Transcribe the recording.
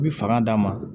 I bi fanga d'a ma